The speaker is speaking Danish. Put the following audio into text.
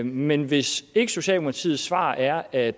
men hvis ikke socialdemokratiets svar er at